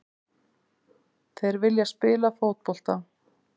Þeir vilja spila fótbolta.